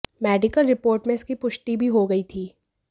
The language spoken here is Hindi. मेडिकल रिपोर्ट में इसकी पुष्टि भी हो गई थी